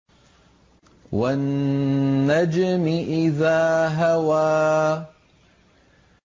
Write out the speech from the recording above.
وَالنَّجْمِ إِذَا هَوَىٰ